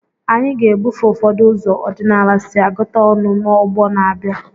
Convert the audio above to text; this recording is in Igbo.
Anyị ga-ebufe ụfọdụ ụzọ ọdịnala si agụta ọnụ n'ọgbọ na-abịa.